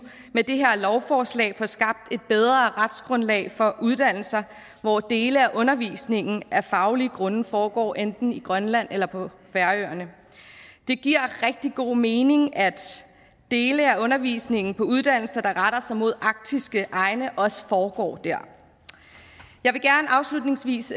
med det her lovforslag får skabt et bedre retsgrundlag for uddannelser hvor dele af undervisningen af faglige grunde foregår enten i grønland eller på færøerne det giver rigtig god mening at dele af undervisningen på uddannelser der retter sig mod arktiske egne også foregår der jeg vil gerne afslutningsvis